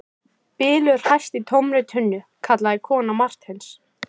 Bylur hæst í tómri tunnu, kallaði kona Marteins.